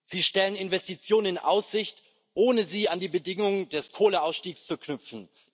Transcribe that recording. Sie stellen Investitionen in Aussicht, ohne sie an die Bedingung des Kohleausstiegs zu knüpfen.